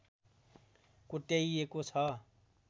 कोट्याइएको छ